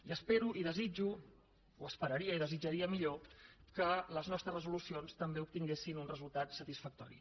i espero i desitjo o esperaria i desitjaria millor que les nostres resolucions també obtinguessin un resultat satisfactori